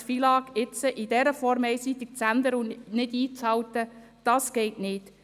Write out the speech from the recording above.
Das FILAG jetzt in dieser Form einseitig zu ändern und nicht einzuhalten, das geht nicht!